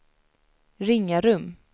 Ringarum